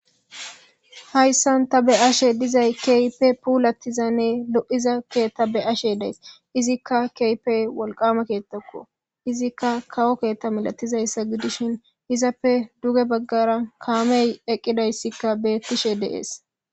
Hayssan ta be7ashe dizay keype puulatizanne lo7iza kee ta be ashe dees izikka keypey wolqama keettakko izikka kawo keetta milatizayssa gidishin izappe duge baggara kaamey eqqidayssikka beettishe deees.